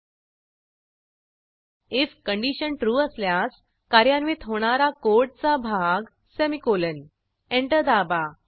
if condition true असल्यास कार्यान्वित होणारा कोडचा भाग सेमीकोलन एंटर दाबा